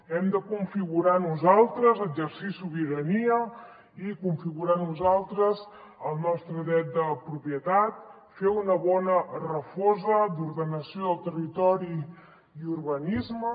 hem de configurar nosaltres exercir sobirania i configurar nosaltres el nostre dret de propietat fer una bona refosa d’ordenació del territori i urbanisme